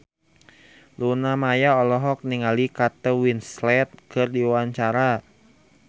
Luna Maya olohok ningali Kate Winslet keur diwawancara